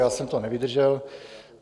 Já jsem to nevydržel.